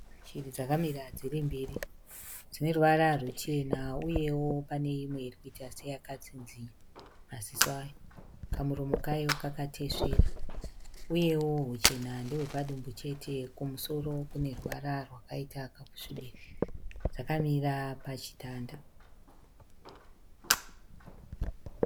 Shiri dzakamira dziri mbiri. Dzine ruvara ruchena uyewo pane imwe iri kuita seyakatsinzina maziso ayo. Kamuromo kayo kakatesvera uyewo huchena ndehwepadumbu chete kumusoro kune ruvara rwakaita kakusvibira. Dzakamira pachitanda.